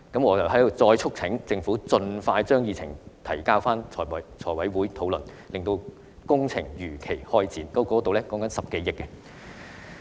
我再促請政府盡快將議程提交財務委員會討論，令工程如期開展，這涉及10多億元。